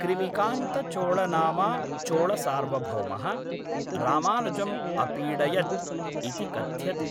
क्रिमिकान्तचोळनामा चोळसार्वभौमः, रामानुजम् अपीडयत् इति कथ्यते।